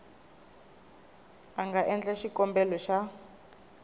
a nga endla xikombelo xa